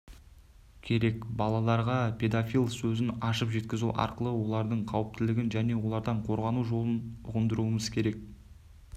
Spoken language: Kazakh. керек балаларға педофил сөзін ашып жеткізу арқылы олардың қауіптілігін және олардан қорғану жолын ұғындыруымыз керек